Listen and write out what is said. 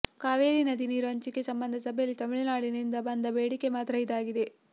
ಕಾವೇರಿ ನದಿ ನೀರು ಹಂಚಿಕೆ ಸಂಬಂಧ ಸಭೆಯಲ್ಲಿ ತಮಿಳುನಾಡಿನಿಂದ ಬಂದ ಬೇಡಿಕೆ ಮಾತ್ರ ಇದಾಗಿದೆ